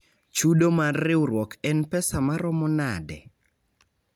Chudo mar riwruok en pesa maromo nade?